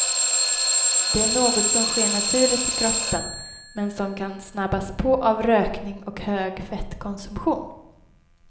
Det är något som sker naturligt i kroppen men som kan snabbas på av rökning och hög fettkonsumtion.